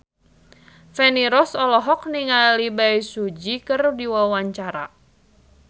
Feni Rose olohok ningali Bae Su Ji keur diwawancara